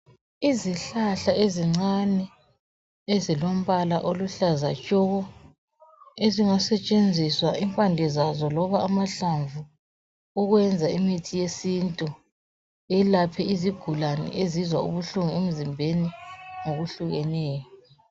Izihlahla ezincane ezilombala oluhlaza tshoko ezingasetshenziswa impande zazo loba amahlamvu ukwenza imithi yesintu yelaphe izigulane ezizwa ubuhlungu emzimbeni ngokuhlukeneyo